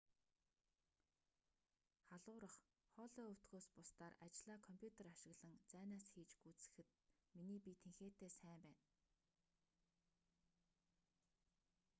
халуурах хоолой өвдөхөөс бусдаар ажлаа компьютер ашиглан зайнаас хийж гүйцэтгэхэд миний бие тэнхээтэй сайн байна